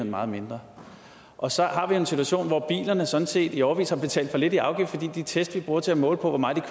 meget mindre og så har vi en situation hvor bilejerne sådan set i årevis har betalt for lidt i afgift fordi de test vi bruger til at måle hvor meget